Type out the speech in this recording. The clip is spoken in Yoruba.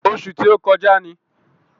Ọṣù tí ó kọjá ni.